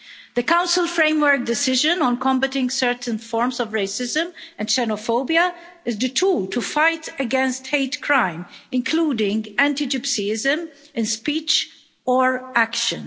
The Council Framework Decision on combating certain forms of racism and xenophobia is the tool to fight against hate crime, including anti-gypsyism, in speech or action.